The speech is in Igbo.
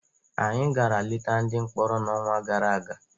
Anyị gara leta ndị mkpọrọ n'ọnwa gara aga.